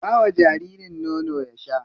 Ba wa jaririn nono ya sha.